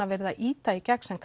verið að ýta í gegn sem